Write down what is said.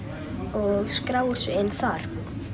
og skráir sig inn þar